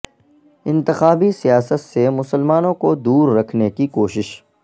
انتخابی سیاست سے مسلمانوں کو دور رکھنے کی کوشش